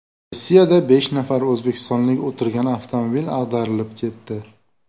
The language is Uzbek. Rossiyada besh nafar o‘zbekistonlik o‘tirgan avtomobil ag‘darilib ketdi.